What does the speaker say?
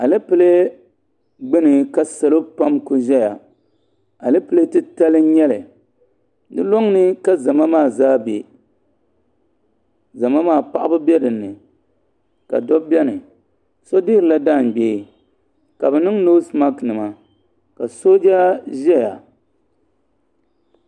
Alepile ɡbuni ka salo pam ku ʒɛya alepile titali n-nyɛ li di lɔŋ ni ka zama maa zaa be zama maa paɣiba be di ni ka dabba beni so dihirila jaanɡbee ka bɛ niŋ noosimakinima ka sooja ʒɛya